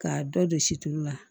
K'a dɔ don situlu la